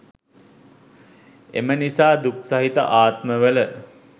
එම නිසා දුක් සහිත ආත්මවල